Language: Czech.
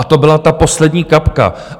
A to byla ta poslední kapka.